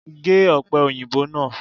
Gé òpè òyìnbó náà